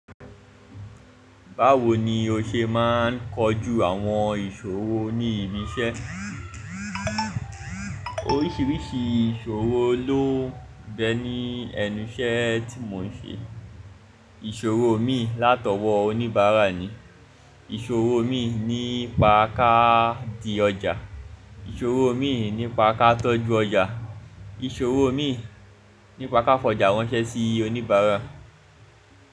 Báwo ni o ṣe máa ń kojú àwọn ìṣòro ní ibi iṣẹ́? Oríṣiríṣi ìṣòro ló nbẹ ní ẹnu iṣẹ́ tí mò ń ṣe. Ìṣòro mi látọwọ́ oníbàárà ni, ìṣòro mi nípa ká di ọjà, ìṣòro mi nípa ká tọ́jú ọjà, ìṣòro mi nípa ká fọ̀jà ránṣẹ́ sí oníbàárà.